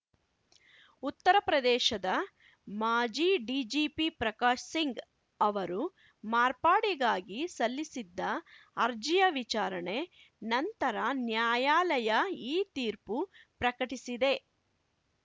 ಉತ್ತರ ಪ್ರದೇಶದ ಮಾಜಿ ಡಿಜಿಪಿ ಪ್ರಕಾಶ್ ಸಿಂಗ್ ಅವರು ಮಾರ್ಪಾಡಿಗಾಗಿ ಸಲ್ಲಿಸಿದ್ದ ಅರ್ಜಿಯ ವಿಚಾರಣೆ ನಂತರ ನ್ಯಾಯಾಲಯ ಈ ತೀರ್ಪು ಪ್ರಕಟಿಸಿದೆ